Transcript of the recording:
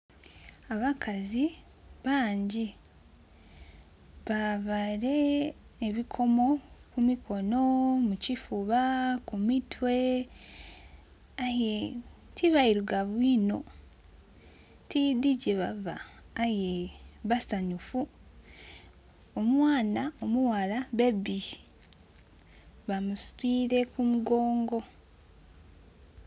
Abakazi bangi baveire ebikomo ku mikono, mu kifuba, ku mitwe aye ti beirugavu iino tidhi gyebava aye basanhufu. Omwaana omu ghala bebi bamusitwire ku mugongo.